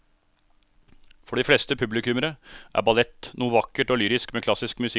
For de fleste publikummere er ballett noe vakkert og lyrisk med klassisk musikk til.